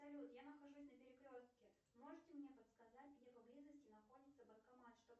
салют я нахожусь на перекрестке можете мне подсказать где поблизости находится банкомат чтобы